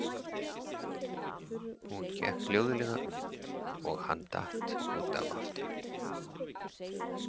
Hún gekk hljóðlega um og hann datt út af aftur.